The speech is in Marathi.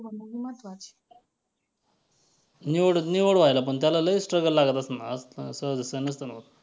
निवड निवड व्हायला पण त्याला लई struggle लागत असणार सहजासहजी नसेल होत.